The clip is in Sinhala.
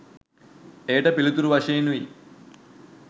එයට පිළිතුරු වශයෙනුයි